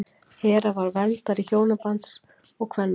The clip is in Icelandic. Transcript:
Hera var verndari hjónabands og kvenna.